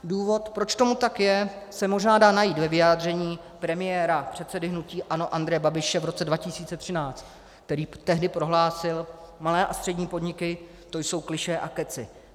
Důvod, proč tomu tak je, se možná dá najít ve vyjádření premiéra, předsedy hnutí ANO Andreje Babiše v roce 2013, který tehdy prohlásil: Malé a střední podniky, to jsou klišé a kecy.